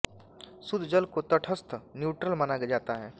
शुद्ध जल को तटस्थ न्यूट्रल माना जाता है